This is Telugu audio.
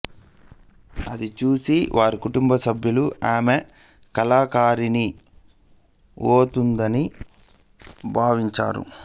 అది చూసి వారి కుటుంబ సభ్యులు ఆమె కళాకారిణి ఉఒతుందని భావించారు